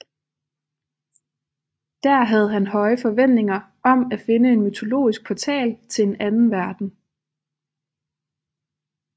Der havde han høje forventninger om at finde en mytologisk portal til en anden verden